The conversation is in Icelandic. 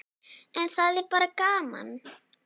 En það er bara gaman.